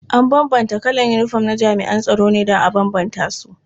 An bambanta kalan yinifom na jami'an tsaro ne don a bambance su.